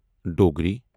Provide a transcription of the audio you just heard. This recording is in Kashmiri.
ڈوگری